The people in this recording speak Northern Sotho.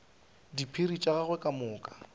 diphiri tša gagwe ka moka